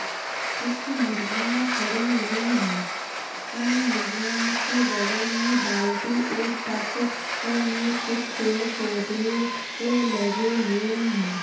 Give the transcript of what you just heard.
कुछ मुर्गियाँ खड़ी हुई हैं। उन मुर्गियों के बगल में बाल्टी और टप में कुछ पेड़-पौधे ऐ लगे हुए हैं।